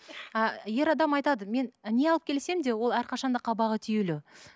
ы ер адам айтады мен не алып келсем де ол әрқашан да қабағы түйулі